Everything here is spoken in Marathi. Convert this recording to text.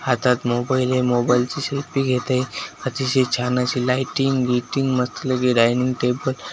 हातात मोबाईल आहे मोबाईलची सेल्फी घेत आहे अतिशय छान अशी लायटिंग बियटिंग मस्तपैकी डायनिंग टेबल --